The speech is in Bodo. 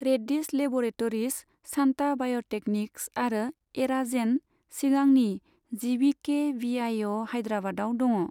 रेड्डीस लेब'रेटरीस, शान्ता बाय'टेकनिक्स आरो एराजेन, सिगांनि जीभीके बीआईअ हाइद्राबादाव दङ।